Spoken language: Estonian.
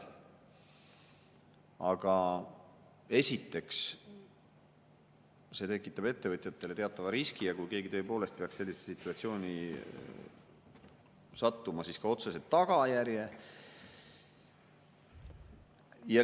Aga esiteks, see tekitab ettevõtjatele teatava riski ja kui keegi tõepoolest peaks sellisesse situatsiooni sattuma, siis ka otsese tagajärje.